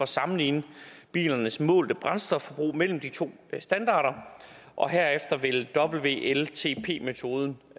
sammenligne bilernes målte brændstofforbrug mellem de to standarder og herefter vil wltp metoden